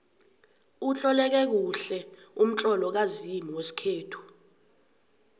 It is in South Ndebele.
utloleke kuhle umtlolo kazimu wesikhethu